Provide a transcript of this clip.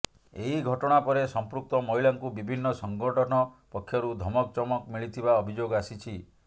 ଏହି ଘଟଣା ପରେ ସମ୍ପୃକ୍ତ ମହିଳାଙ୍କୁ ବିଭିନ୍ନ ସଂଗଠନ ପକ୍ଷରୁ ଧମକ ଚମକ ମିିଳିଥିବା ଅଭିଯୋଗ ଆସିଛି